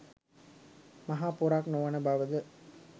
මහා පොරක් නොවන බවද?